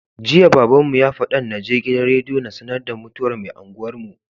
Jiya babbanmu ya fadan naje gidan rediyo na sAnar da mutuwar me unguwar mu